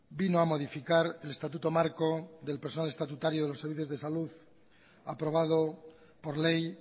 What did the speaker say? vino a modificar el estatuto marco del personal estatutario de los servicios de salud aprobado por ley